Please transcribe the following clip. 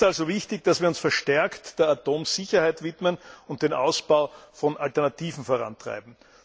Es ist also wichtig, dass wir uns verstärkt der Atomsicherheit widmen und den Ausbau von Alternativen vorantreiben.